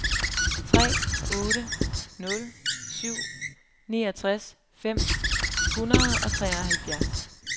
tre otte nul syv niogtres fem hundrede og treoghalvfjerds